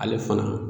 Ale fana